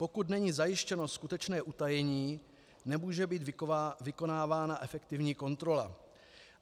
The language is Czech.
Pokud není zajištěno skutečné utajení, nemůže být vykonávána efektivní kontrola.